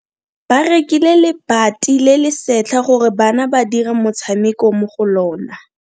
Ba rekile lebati le le setlha gore bana ba dire motshameko mo go lona.